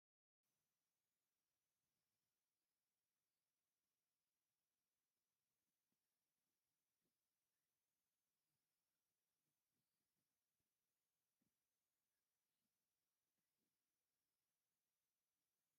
ሆም ላን ዝባሃል ሆቴል እንትከውን እዚ ሆቴል ብጣዓሚ ድስ ዝብል እንትከውን ናይ ሆቴል ኣቁት እውን ደስ ዝብል እንትከውን እዚ ዝተፈላላዩ ኣጋይሽ መቀበሊ ኮይኑ ኣበይ ዓዲ ይርከብ ይመስለኩም?